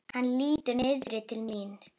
Hann lítur niður til mín.